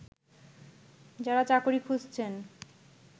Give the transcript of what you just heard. যারা চাকরি খুঁজছেন